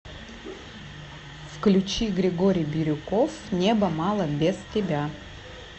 включи григорий бирюков неба мало без тебя